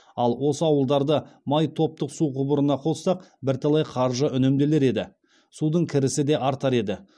ал осы ауылдарды май топтық су құбырына қоссақ бірталай қаржы үнемделер еді судың кірісі де артар еді